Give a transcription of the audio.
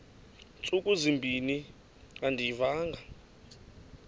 ntsuku zimbin andiyivanga